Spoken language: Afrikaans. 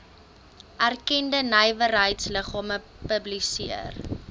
erkende nywerheidsliggame publiseer